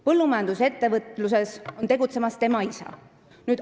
Põllumajandusettevõtluses tegutseb tema isa.